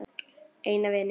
Eina vininn.